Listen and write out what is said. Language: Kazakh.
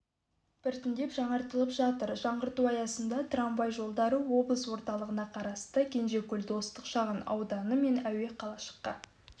біртіндеп жаңартылып жатыр жаңғырту аясында трамвай жолдары облыс орталығына қарасты кенжекөл достық шағынауданы мен әуеқалашыққа